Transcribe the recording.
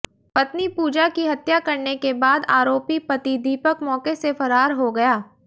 पत्नी पूजा की हत्या करने के बाद आरोपी पति दीपक मौके से फरार हो गया